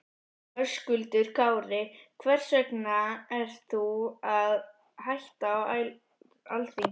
Höskuldur Kári: Hvers vegna ert þú að hætta á Alþingi?